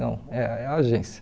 Não, é é a agência.